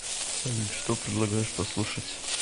салют что предлагаешь послушать